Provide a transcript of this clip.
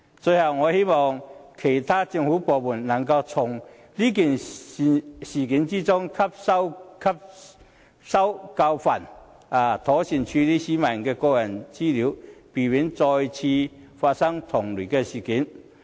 最後，我希望其他政府部門能夠從事件中汲取教訓，妥善處理市民的個人資料，避免再次發生同類事件。